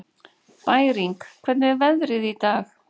Bæring, hvernig er veðrið í dag?